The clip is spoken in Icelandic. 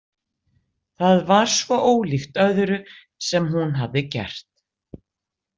Það var svo ólíkt öðru sem hún hafði gert.